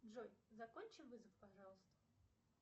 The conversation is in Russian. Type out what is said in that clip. джой закончи вызов пожалуйста